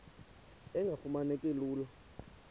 engafuma neki lula